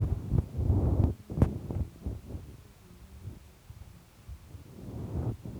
Tos nee kabarunoik ap miondoop tigitik komeweguu korotik chekakopais komie?